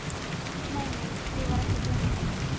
Nei, nei, mig var ekki að dreyma neitt.